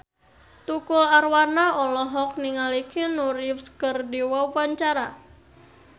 Tukul Arwana olohok ningali Keanu Reeves keur diwawancara